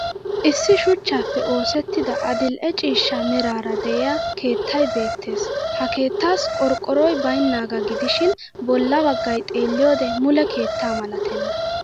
Issi shuchanppe oosettida adil'e ciishsha meraara de'iya keettay beettes. Ha keettaassi qorqqoroy baynnaggaa gidishin bolla baggay xeelliyoode mule keetta malatenna